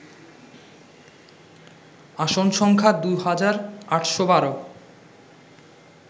আসন সংখ্যা দুই হাজার ৮১২